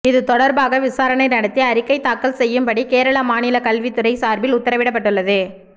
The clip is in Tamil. இது தொடர்பாக விசாரணை நடத்தி அறிக்கை தாக்கல் செய்யும்படி கேரள மாநில கல்வி துறை சார்பில் உத்தரவிடப்பட்டுள்ளது